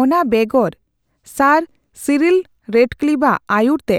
ᱚᱱᱟ ᱵᱮᱜᱚᱨ, sir Cyril Radcliffe ᱟᱜ ᱟᱹᱭᱩᱨ ᱛᱮ